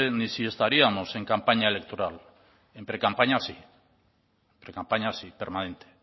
ni si estaríamos en campaña electoral en precampaña sí permanente